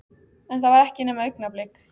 En það var ekki nema augnablik.